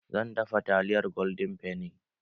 Zan dafa taliyar golden fenny